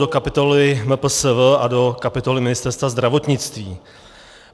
Do kapitoly MPSV a do kapitoly Ministerstva zdravotnictví.